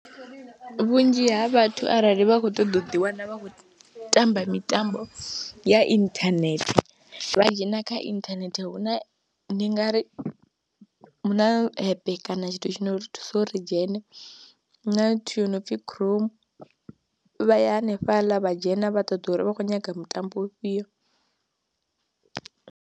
Vhunzhi ha vhathu arali vha khou ṱoḓa u ḓiwana vha khou tamba mitambo ya inthanethe vha dzhena kha inthanethe hu na, ndi nga ri hu na apep kana tshithu tshine ri thusa uri dzhene, hu na nthu yo no pfhi Chrome, vha ya hanefhaḽa vha dzhena vha ṱoḓa uri vha khou nyaga mutambo ufhio.